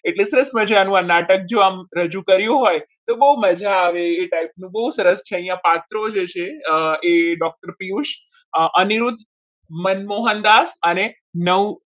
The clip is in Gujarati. એટલે સરસ મજાનું આ નાટક જો આમ રજૂ કર્યું હોય તો બહુ મજા આવે એ time એ બહુ સરસ છે આ પાઠ અંદર જે છે એ doctor પિયુષ અનિરુદ્ધ મનમોહનદાસ અને નવું